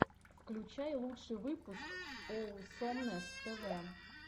включай лучший выпуск оусомнесс тэ вэ